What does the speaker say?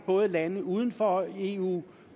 både lande uden for eu